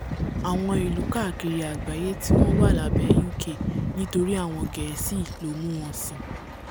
àwọn ilú káàkiri àgbáyé tí wọ́n wà lábẹ́ uk nítorí àwọn gẹ̀ẹ́sì ló mú wọn sìn